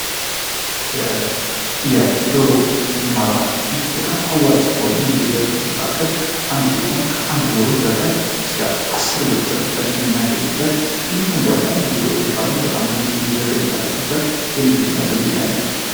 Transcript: የዶሮባደህ በጣም አዋጭ ከሆነ የንግድ መካከል አንዱ ሲሆን ከአንድ ዶሮ በቀን እስከ 10 ብር የምናገኝበት እንዲሁም ደግሞ ብዙ ዶሮ ካሉ በጣም ብዙ ሺ ብር የምናደርግበት አይነት ነው።